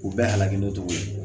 U bɛɛ halaki n'o tɔgɔ ye